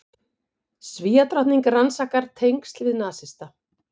Svíadrottning rannsakar tengsl við nasista